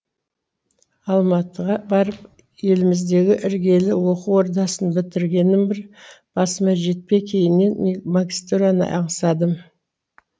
алматыға барып еліміздегі іргелі оқу ордасын бітіргенім бір басыма жетпей кейіннен магистраны аңсадым